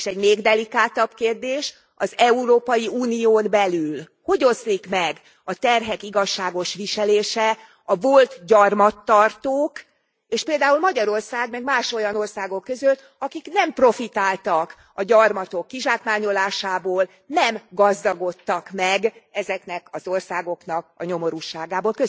És egy még delikátabb kérdés az Európai Unión belül hogy oszlik meg a terhek igazságos viselése a volt gyarmattartók és például Magyarország, meg más olyan országok között, akik nem profitáltak a gyarmatok kizsákmányolásából, nem gazdagodtak meg ezeknek az országoknak a nyomorúságából.